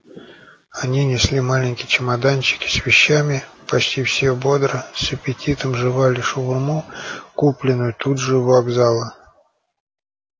они несли маленькие чемоданчики с вещами почти все бодро с аппетитом жевали шаурму купленную тут же у вокзала